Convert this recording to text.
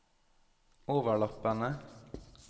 overlappende